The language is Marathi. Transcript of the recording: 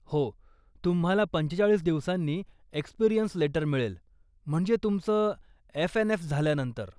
हो, तुम्हाला पंचेचाळीस दिवसांनी एक्सपिरीअन्स लेटर मिळेल, म्हणजे तुमचं एफएनएफ झाल्यानंतर.